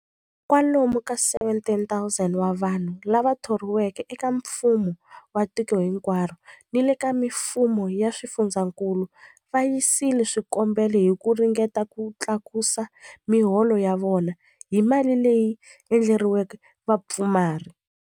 Kwa lomu ka 17,000 wa vanhu lava thoriweke eka mfumo wa tiko hinkwaro ni le ka mifumo ya swifundzankulu va yisile swikombelo hi ku ringeta ku tlakusa miholo ya vona hi mali leyi endleriweke vapfumari.